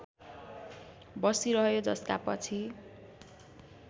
बसिरह्यो जसका पछि